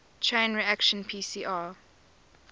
chain reaction pcr